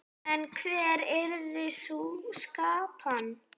En hver yrði sú skipan?